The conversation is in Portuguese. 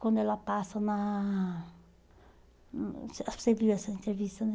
Quando ela passa na...Hum, você viu essa entrevista, né?